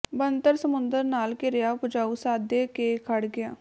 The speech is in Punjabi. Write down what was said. ਬਣਤਰ ਸਮੁੰਦਰ ਨਾਲ ਘਿਰਿਆ ਉਪਜਾਊ ਸਾਦੇ ਕੇ ਖੜ੍ਹ ਗਿਆ